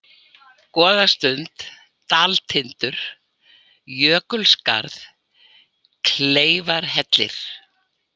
Góðasund, Daltindur, Jökulskarð, Kleifarhellir